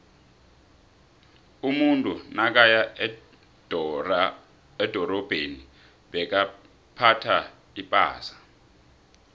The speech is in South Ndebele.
umuntu nakaya edorabheni bekaphtha ipasa